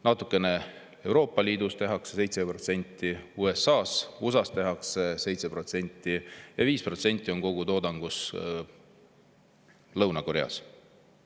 Natukene tehakse Euroopa Liidus – 7% –, USA-s tehakse 7% ja 5% kogu toodangust Lõuna-Koreast.